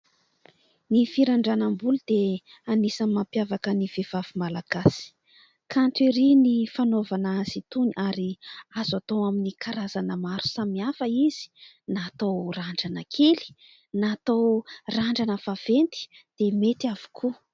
Ny firandranam-bolo dia anisany mampiavaka ny vehivavy malagasy, kanto erỳ ny fanaovana azy itony ary azo atao amin'ny karazana maro samihafa izy, na atao randrana kely na atao randrana vaventy dia mety avokoa.